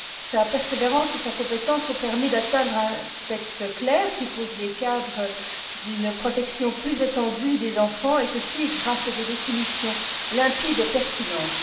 Sa persévérance et sa compétence ont permis d'aboutir à un texte clair qui pose les cadres d'une protection plus étendue des enfants, grâce à des définitions limpides et pertinentes.